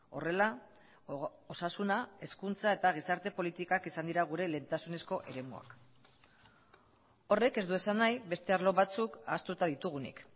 horrela osasuna hezkuntza eta gizarte politikak izan dira gure lehentasunezko eremuak horrek ez du esan nahi beste arlo batzuk ahaztuta ditugunik